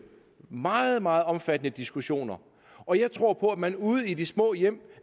meget meget omfattende diskussioner og jeg tror på at man ude i de små hjem